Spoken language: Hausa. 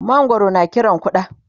mangwaro na Kiran ƙuda